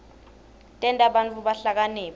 tenta bantfu bahlakaniphe